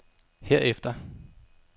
herefter